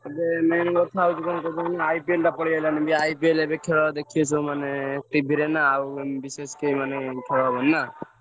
ଏବେ main କଥା ହଉଛି କଣ IPL ଟା ପଳେଇ ଆଇଲାଣି ବି IPL ଏବେ ଖେଳ ଦେଖିବେ ସବୁମାନେ TV ରେ ନା ଆଉ ବିଶେଷ କେହି ମାନେ ଖେଳ ହବନି ନା।